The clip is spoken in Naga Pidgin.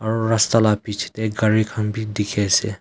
aru rasta la bichae tae gari khan bi dikhiase.